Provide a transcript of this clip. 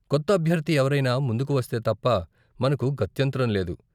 కొత్త అభ్యర్ధి ఎవరైనా ముందుకు వస్తే తప్ప, మనకు గత్యంతరం లేదు.